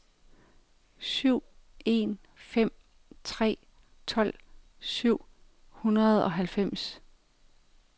syv en fem tre tolv syv hundrede og halvfems